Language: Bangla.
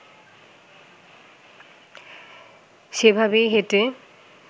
সেভাবেই হেঁটে